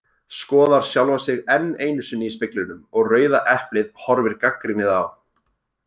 Skoðar sjálfa sig enn einu sinni í speglinum og Rauða eplið horfir gagnrýnið á.